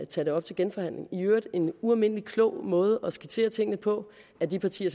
tage det op til genforhandling i øvrigt en ualmindelig klog måde at skitsere tingene på af de partier